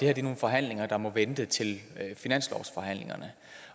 er nogle forhandlinger der må vente til finanslovsforhandlingerne